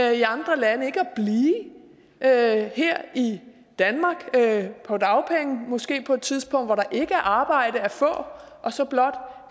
i andre lande ikke at her i danmark på dagpenge måske på et tidspunkt hvor der ikke er arbejde at få og så blot